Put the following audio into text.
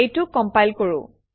এইটো কমপাইল কৰোঁ